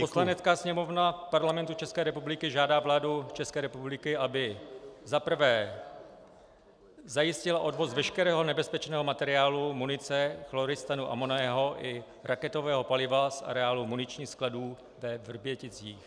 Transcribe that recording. Poslanecká sněmovna Parlamentu České republiky žádá vládu České republiky, aby - za prvé - zajistila odvoz veškerého nebezpečného materiálu, munice, chloristanu amonného i raketového paliva z areálu muničních skladů ve Vrběticích.